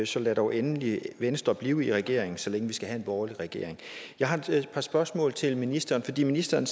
så lad dog endelig venstre blive i regeringen så længe vi skal have en borgerlig regering jeg har et par spørgsmål til ministeren fordi ministeren